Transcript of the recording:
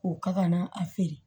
K'o ka kana a feere